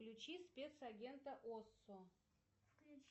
включи спецагента осо